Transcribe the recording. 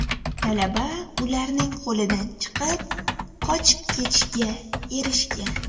Talaba ularning qo‘lidan chiqib, qochib ketishga erishgan.